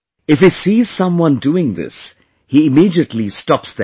If he sees someone doing this, he immediately stops them